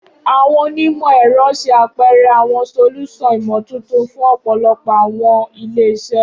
Awọn onimọ-ẹrọ ṣe apẹrẹ awọn solusan imotuntun fun ọpọlọpọ awọn ile-iṣẹ.